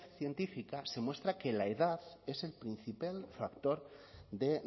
científica se muestra que la edad es el principal factor de